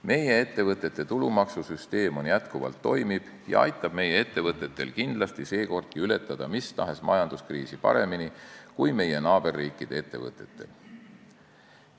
Meie ettevõtete tulumaksu süsteem on jätkuvalt toimiv ja aitab meie ettevõtetel kindlasti seekordki ületada mis tahes majanduskriisi paremini kui meie naaberriikide ettevõtetel.